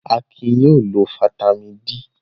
Akin yóò lo fataímìn D!